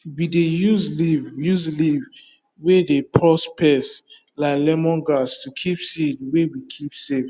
we dey use leaf use leaf wey dey purse pest like lemon grass to keep seed wey we keep safe